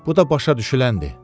Bu da başa düşüləndir.